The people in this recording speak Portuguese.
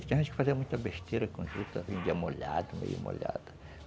Tem gente que fazia muita besteira com a juta, vendia molhada, meio molhada.